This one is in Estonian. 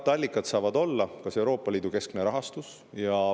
Katteallikas saab olla Euroopa Liidu keskne rahastus.